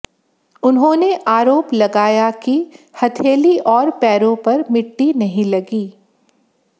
उन्होंने आरोप लगाया कि हथेली और पैरों पर मिट्टी नहीं लगी